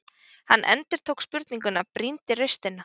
Hann endurtók spurninguna, brýndi raustina.